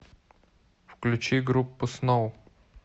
включи группу сноу